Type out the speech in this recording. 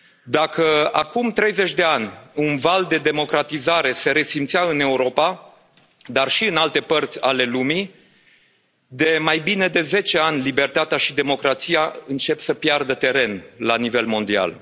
Dacă acum treizeci de ani un val de democratizare se resimțea în Europa, dar și în alte părți ale lumii, de mai bine de zece ani libertatea și democrația încep să piardă teren la nivel mondial.